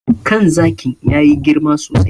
Kan zakin ya yi girma sosai.